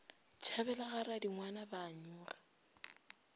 tšhabela ga radingwana ba nyoga